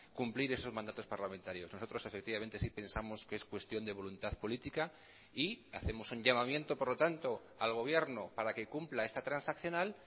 cumplir esos mandatos parlamentarios nosotros efectivamente sí pensamos que es cuestión de voluntad política y hacemos un llamamiento por lo tanto al gobierno para que cumpla esta transaccional